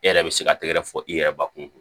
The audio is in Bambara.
E yɛrɛ bɛ se ka tɛgɛ fɔ i yɛrɛ ba kun